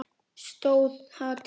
Stóð það til?